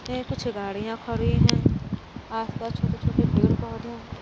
ये कुछ गाड़ियां खड़ी हैं। आस पास छोटे छोटे पेड़ पौधे हैं।